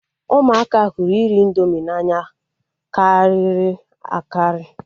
Ụmụaka hụrụ nri indomi n'anya karịrị akarị